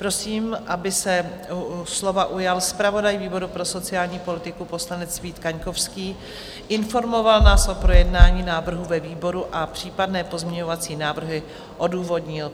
Prosím, aby se slova ujal zpravodaj výboru pro sociální politiku, poslanec Vít Kaňkovský, informoval nás o projednání návrhu ve výboru a případné pozměňovací návrhy odůvodnil.